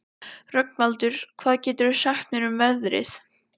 Rögnvaldur, hvað geturðu sagt mér um veðrið?